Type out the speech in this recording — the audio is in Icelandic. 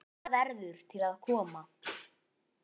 Meira verður til að koma.